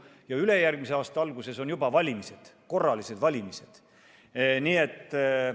Ja ülejärgmise aasta alguses on juba valimised, korralised valimised, nii et ...